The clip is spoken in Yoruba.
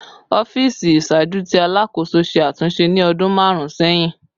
Ọfiisi iṣaaju ti Alakoso ṣe atunṣe ni ọdun marun sẹhin